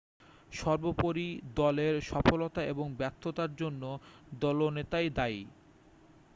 সর্বোপরি দলের সফলতা এবং ব্যর্থতার জন্য দলনেতাই দায়ী